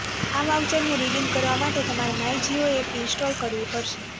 આ વાઉચરને રિડિમ કરવા માટે તમારે માય જિયો એપ ઇન્સ્ટોલ કરવી પડશે